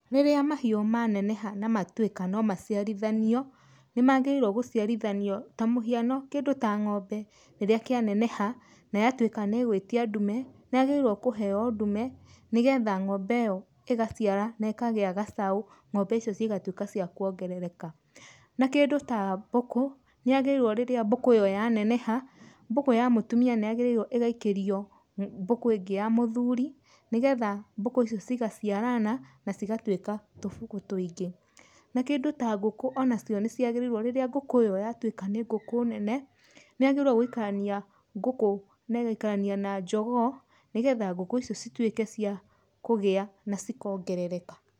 Rĩrĩa mahiũ maneneha na matwĩka no maciarithanio, nĩ magĩrĩirwo gũciarithanio ta mũhiano kĩndũ ta ngombe, rĩrĩa kĩa neneha na yatwĩka nĩ ĩgũĩtia ndume, nĩ yagĩrĩirwo kũheo ndume nĩgetha ngombe ĩyo ĩgaciara na ĩkagĩa gacau ngombe icio cigatuĩka cia kũongerereka. Na kĩndũ ta mbũkũ, nĩ yagĩrĩirwo rĩrĩa mbũkũ ĩyo yaneneha, mbũkũ ya mũtumia nĩ yagĩrĩirwo ĩgaikario mbũkũ ĩngĩ ya mũthuri, nĩgetha mbũkũ icio cigaciarana na cigatuĩka tũbũkũ tũingĩ. Na kĩndũ ta ngũkũ onacio nĩciagĩrĩirwo rĩrĩa ngũkũ ĩyo yatuĩka nĩ ngũkũ nene, nĩ yagĩrĩirwo gũikarania ngũkũ na ĩgaikarania na njogoo, nĩgetha ngũkũ icio cituĩke cia kũgĩa na cikongerereka.